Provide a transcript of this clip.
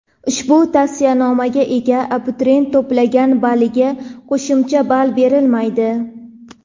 ushbu tavsiyanomaga ega abituriyent to‘plagan balliga qo‘shimcha ball berilmaydi.